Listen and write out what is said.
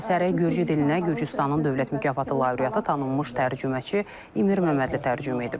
Əsəri Gürcü dilinə Gürcüstanın dövlət mükafatı lauriatı tanınmış tərcüməçi İmir Məmmədli tərcümə edib.